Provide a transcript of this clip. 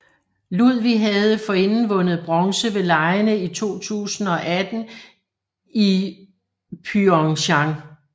Ludwig havde forinden vundet bronze ved legene i 2018 i Pyeongchang